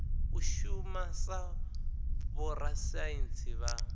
u shuma sa vhorasaintsi vha